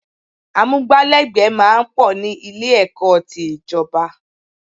Amúgbálẹ́gbẹ̀ẹ́ máa ń pọ̀ ní Ilé-ẹ̀kọ́ ti ìjọ̀ba